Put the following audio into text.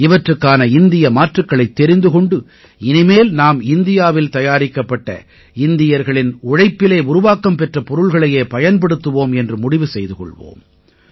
இவற்றுக்கான இந்திய மாற்றுக்களைத் தெரிந்து கொண்டு இனிமேல் நாம் இந்தியாவில் தயாரிக்கப்பட்ட இந்தியர்களின் உழைப்பிலே உருவாக்கம் பெற்ற பொருள்களையே பயன்படுத்துவோம் என்று முடிவு செய்து கொள்வோம்